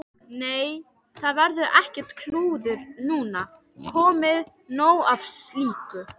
Nei, það verður ekkert klúður núna, komið nóg af slíku.